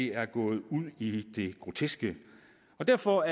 er gået ud i det groteske derfor